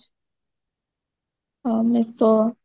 ହଁ meesho